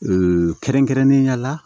kɛrɛnkɛrɛnnenya la